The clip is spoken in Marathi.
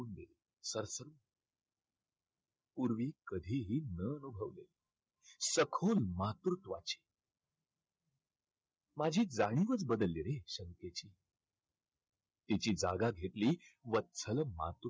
पूर्वी कधीही न अनुभवलेलं. सखून मातृत्वाची, मी जाणीवच बदलली रे शंकेची. तिची जागा घेतली वत्सल